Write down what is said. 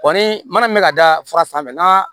Kɔni mana min bɛ ka da fara sanfɛ n'a